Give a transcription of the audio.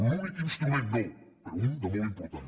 l’únic instrument no però un de molt important